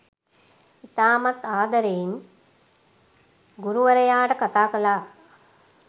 ඉතාමත් ආදරයෙන් ගුරුවරයාට කථා කළා.